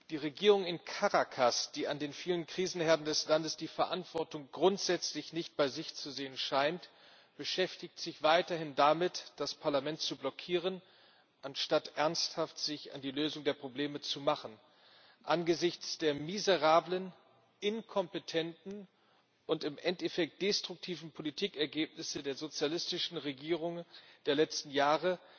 Die Regierung in Caracas, die an den vielen Krisenherden des Landes die Verantwortung grundsätzlich nicht bei sich zu sehen scheint, beschäftigt sich weiterhin damit, das Parlament zu blockieren, anstatt sich ernsthaft an die Lösung der Probleme zu machen. Angesichts der miserablen, inkompetenten und im Endeffekt destruktiven Politikergebnisse der sozialistischen Regierungen der letzten Jahre